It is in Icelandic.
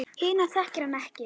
Hina þekkir hann ekki.